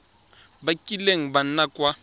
ba kileng ba nna kwa